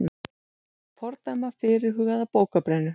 Fordæma fyrirhugaða bókabrennu